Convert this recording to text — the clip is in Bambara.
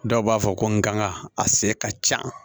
Dɔw b'a fɔ ko n kanga a se ka ca